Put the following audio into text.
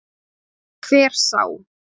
Hver sá